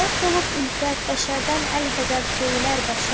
Məhv olub ülfət, bəşərdən əlhəzər söylər bəşər.